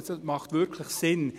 Das macht wirklich Sinn.